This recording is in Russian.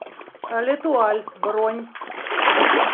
летуаль бронь